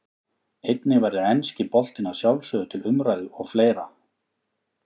Einnig verður enski boltinn að sjálfsögðu til umræðu og fleira.